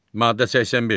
Maddə 85.